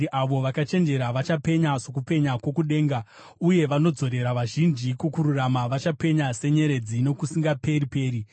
Avo vakachenjera vachapenya sokupenya kwokudenga, uye vanodzorera vazhinji kukururama, vachapenya senyeredzi nokusingaperi-peri.